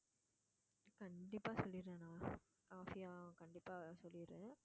கண்டிப்பா சொல்லிடுறேன் நான் ஆஃபியா கண்டிப்பா சொல்லிடுறேன்